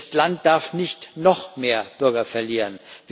Das Land darf nicht noch mehr Bürger verlieren.